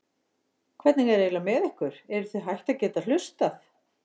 Hvernig er eiginlega með ykkur, eruð þið hætt að geta hugsað?